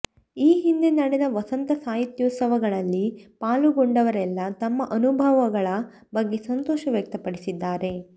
ಈ ಹಿಂದೆ ನಡೆದ ವಸಂತ ಸಾಹಿತ್ಯೋತ್ಸವಗಳಲ್ಲಿ ಪಾಲುಗೊಂಡವರೆಲ್ಲ ತಮ್ಮ ಅನುಭವಗಳ ಬಗ್ಗೆ ಸಂತೋಷ ವ್ಯಕ್ತಪಡಿಸಿದ್ದಾರೆ